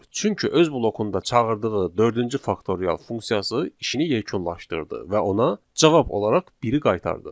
Çünki öz blokunda çağırdığı dördüncü faktorial funksiyası işini yekunlaşdırdı və ona cavab olaraq biri qaytardı.